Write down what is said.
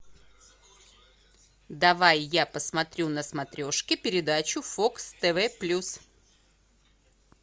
давай я посмотрю на смотрешке передачу фокс тв плюс